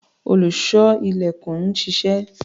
Olùṣọ́-ilẹ̀kùn ń ṣiṣẹ́.